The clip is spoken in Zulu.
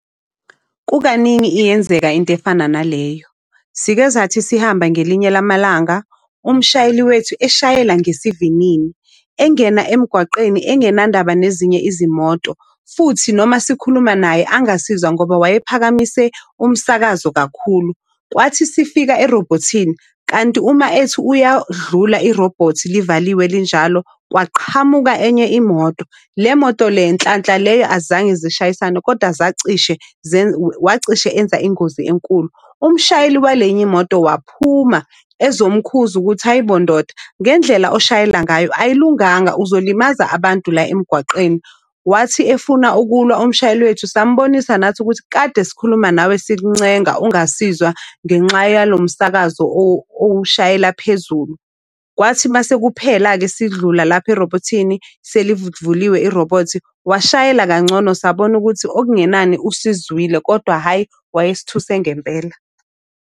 Kukaningi iyenzeka into efana naleyo. Sikezathi sihamba ngelinye lamalanga. Umshayeli wethu eshayela ngesivinini, engena emgwaqeni engenandaba nezinye izimoto. Futhi noma sikhuluma naye angasizwa ngoba waye phakamise umsakazo kakhulu. Kwathi sifika erobhothini kanti uma ethi uyadlula irobhothi livaliwe linjalo. Kwaqhamuka enye imoto. Le moto le nhlanhla leyo azange zishayisane kodwa zacishe wacishe enza ingozi enkulu. Umshayeli wale enye imoto waphuma ezomkhuza ukuthi hhayi bo ndoda ngendlela oshayela ngayo ayilunganga kuzolimaza abantu la emgwaqeni. Wathi efuna ukulwa umshayeli wethu sambonisa nathi ukuthi kade sikhuluma nawe sikuncenga ungasizwa ngenxa yalo msakazo owushayela phezulu. Kwathi masekuphela-ke sidlula lapha erobhothini selivuliwe irobhothi washayela kangcono, sabona ukuthi okungenani usizwile, kodwa hhayi wayesithuse ngempela.